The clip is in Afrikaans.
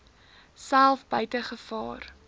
self buite gevaar